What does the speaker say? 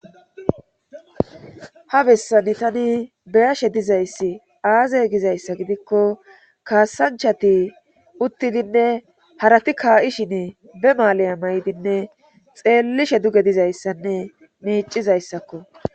ha bessani tani beyashe dizayssi aazay gizayssa gidikko kaassanchati uttidinne harati kaa7ishin be maalaya maydinne xeellishe duge dizayssanne miicizayssakko